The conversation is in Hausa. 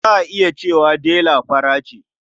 Za a iya cewa Dela fara ce.